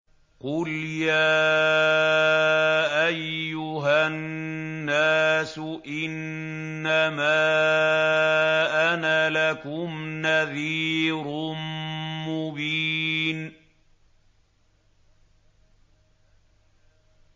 قُلْ يَا أَيُّهَا النَّاسُ إِنَّمَا أَنَا لَكُمْ نَذِيرٌ مُّبِينٌ